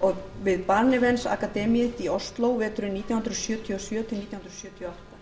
og við barnevernsakademiet í ósló veturinn nítján hundruð sjötíu og sjö til nítján hundruð sjötíu og átta